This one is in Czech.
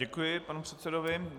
Děkuji panu předsedovi.